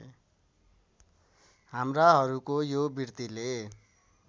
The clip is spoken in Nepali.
हाम्राहरूको यो वृत्तिले